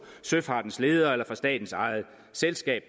søfartens ledere eller fra statens eget selskab